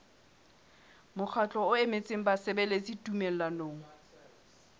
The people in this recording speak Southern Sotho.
mokgatlo o emetseng basebeletsi tumellanong